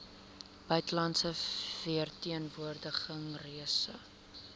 buitelandse verteenwoordiging reise